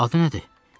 Adı nədir?